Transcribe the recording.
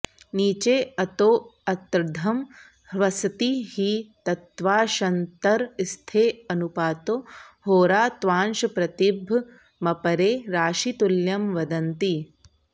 नीचेऽतोऽर्त्द्धं ह्वसति हि तत्श्वान्तरस्थेऽनुपातो होरा त्वांशप्रतिभमपरे राशितुल्यं वदन्ति